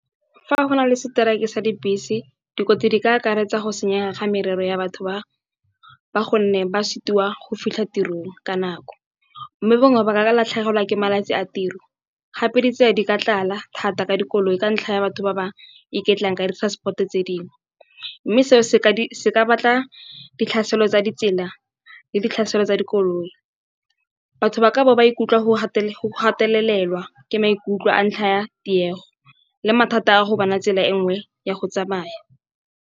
Fa go na le seteraeke sa dibese, dikotsi di ka akaretsa go senyega ga merero ya batho ba gonne ba sitiwa go fitlha tirong ka nako. Mme bangwe ba ka latlhegelwa ke malatsi a tiro gape ditsela di ka tlala thata ka dikoloi ka ntlha ya batho ba ba iketlang ka di-transport-o tse dingwe. Mme seo se ka batla ditlhaselo tsa ditsela le ditlhaselo tsa dikoloi. Batho ba ka bo ba ikutlwa go gatelelwa ke maikutlo ka ntlha ya tiego le mathata a go bona tsela e nngwe ya go tsamaya.